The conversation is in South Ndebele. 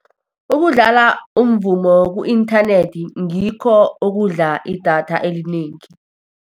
Ukudlala umvumo ku-inthanethi ngikho okudla idatha elinengi.